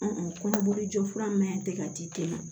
kɔnɔboli jɔ fura min tɛ ka di e ma